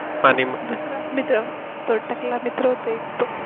दुसरा मित्र तो टकला मित्र होता तो